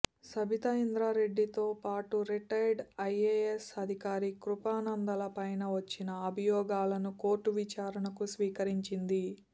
సబితా ఇంద్రా రెడ్డితో పాటు retired IAS అధికారి కృపానందల పైన వచ్చిన అభియోగాలను కోర్టు విచారణకు స్వీకరించింది